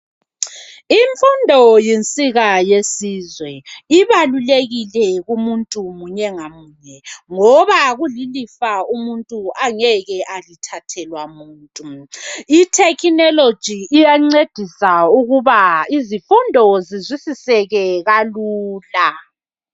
Imfundo yinsika yesizwe ibalukekile kumuntu munye ngamunye ngoba kulilifa umuntu angeke alithathelwa muntu itechnology iyancedisa ukuba izifundo zizwisiseke kalula.